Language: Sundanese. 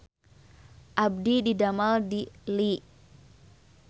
Abdi didamel di Lea